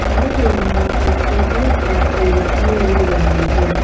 हमें यहां एक पब्लिक बाथरूम दिखाई मिल रही है।